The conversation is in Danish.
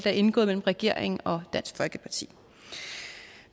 er indgået mellem regeringen og dansk folkeparti